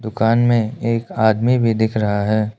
दुकान में एक आदमी भी दिख रहा है।